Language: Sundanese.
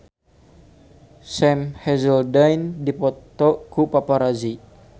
Sam Hazeldine dipoto ku paparazi